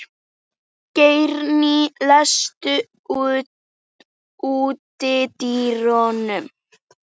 Geirný, læstu útidyrunum.